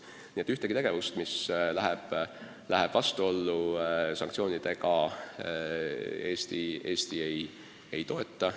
Nii et ühtegi tegevust, mis läheb vastuollu sanktsioonidega, Eesti ei toeta.